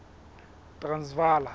transvala